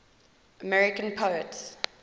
american poets